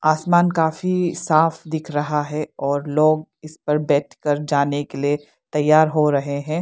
आसमान काफी साफ दिख रहा है और लोग इस पर बैठकर जाने के लिए तैयार हो रहे हैं।